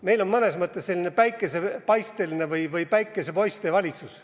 Meil on mõnes mõttes selline päikesepaisteline või päikesepoiste valitsus.